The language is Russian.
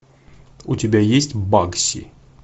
у тебя есть бакси